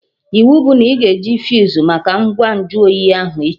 Iwu bụ na ị ga eji fuse make ngwa nju oyi ahụ, echi!